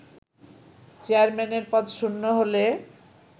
চেয়ারম্যানের পদ শূন্য হলে